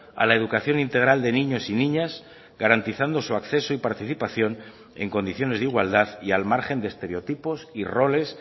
a la educación integral de niños y niñas garantizando su acceso y participación en condiciones de igualdad y al margen de estereotipos y roles